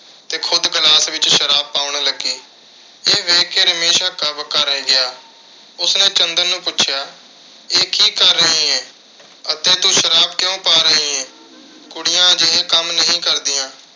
ਤੇ ਖੁਦ glass ਵਿੱਚ ਸ਼ਰਾਬ ਪਾਉਣ ਲੱਗੀ। ਇਹ ਦੇਖ ਕੇ ਰਮੇਸ਼ ਹੱਕਾ-ਬੱਕਾ ਰਹਿ ਗਿਆ। ਉਸਨੇ ਚੰਦਰ ਨੂੰ ਪੁੱਛਿਆ ਇਹ ਕੀ ਕਰ ਰਹੀ ਏਂ ਅਤੇ ਤੂੰ ਸ਼ਰਾਬ ਕਿਉਂ ਪਾ ਰਹੀਂ ਏਂ।